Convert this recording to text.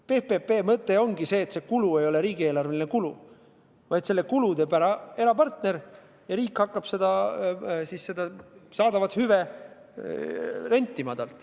PPP-de mõte ongi selles, et see kulu ei ole riigieelarveline kulu, vaid selle kannab erapartner ja riik hakkab saadavat hüve temalt rentima.